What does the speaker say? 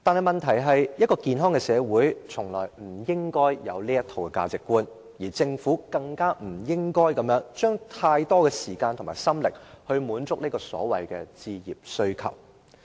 問題是，一個健康的社會，從來不應該有這套價值觀，政府更不應該用太多時間和心力滿足所謂置業需求。